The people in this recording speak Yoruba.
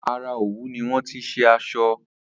Ara òwú ni wọ́n ti se asọ